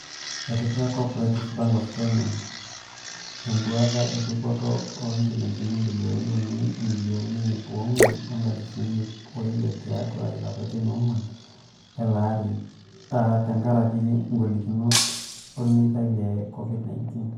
Etipika Co-operative Bank of Kenya (Coop Bank) edounoto e dupoto o injilingini bilioni uni imilioni iip oonguan o nkalifuni iip oile tiatu ilapatin oonguan leleari aa tengaraki golikinoto olmeitai le Covid-19.